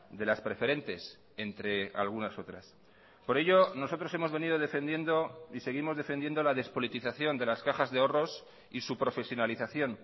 de las preferentes entre algunas otras por ello nosotros hemos venido defendiendo y seguimos defendiendo la despolitización de las cajas de ahorros y su profesionalización